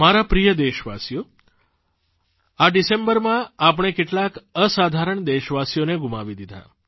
મારા પ્રિય દેશવાસીઓ આ ડિસેમ્બરમાં આપણે કેટલાક અસાધારણ દેશવાસીઓને ગુમાવી દીધા